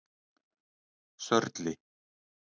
Sörli